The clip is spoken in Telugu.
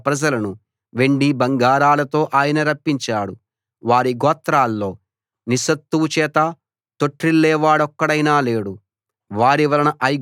అక్కడనుండి తన ప్రజలను వెండి బంగారాలతో ఆయన రప్పించాడు వారి గోత్రాల్లో నిస్సత్తువ చేత తొట్రిల్లేవాడొక్కడైనా లేడు